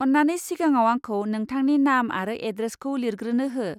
अन्नानै सिगाङाव आंखौ नोंथांनि नाम आरो एड्रेसखौ लिरग्रोनो हो।